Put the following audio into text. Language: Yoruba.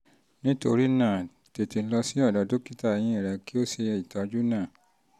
nítorí náà tètè lọ sọ́dọ̀ dókítà eyín rẹ kó o sì ṣe ìtọ́jú náà